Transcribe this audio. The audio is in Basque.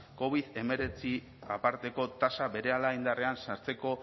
covid hemeretzi aparteko tasa berehala indarrean sartzeko